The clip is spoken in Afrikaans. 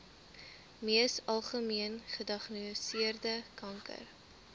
mees algemeengediagnoseerde kanker